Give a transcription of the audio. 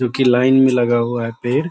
जो की लाइन में लगा हुआ है पेड़।